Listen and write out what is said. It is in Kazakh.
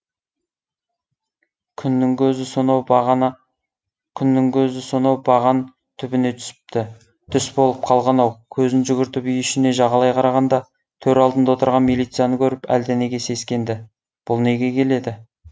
күннің көзі сонау баған түбіне түсіпті түс болып қалған ау көзін жүгіртіп үй ішіне жағалай қарағанда төр алдында отырған милицияны көріп әлденеге сескенді бұл неге келеді